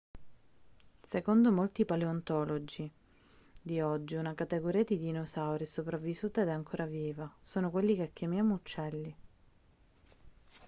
secondo molti paleontologi di oggi una categoria di dinosauri è sopravvissuta ed è ancora viva sono quelli che chiamiamo uccelli